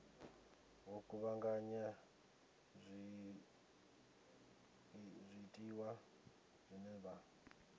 vho kuvhanganya zwiḽiwa zwine vha